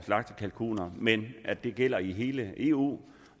slagtekalkuner men at det gælder i hele eu